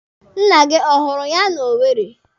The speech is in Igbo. Nna gị ọ hụrụ ya n'Owere?